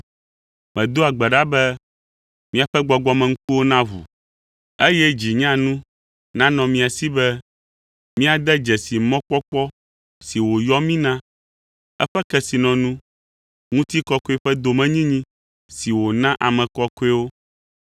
Medoa gbe ɖa be miaƒe gbɔgbɔmeŋkuwo naʋu, eye dzi nyanu nanɔ mia si be míade dzesi mɔkpɔkpɔ si wòyɔ mí na, eƒe kesinɔnu, ŋutikɔkɔe ƒe domenyinyi si wòna ame kɔkɔewo,